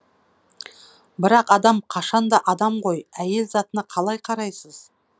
бірақ адам қашанда адам ғой әйел затына қалай қарайсыз